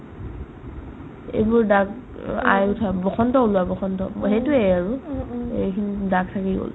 অ' এইবোৰ দাগ অ আই উঠা বসন্ত ওলোৱা বসন্ত অ সেইটোয়ে আৰু এইখিনি দাগ থাকি গ'ল